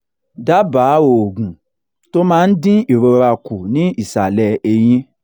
daba oògùn tó máa ń dín ìrora ku ni isale eyin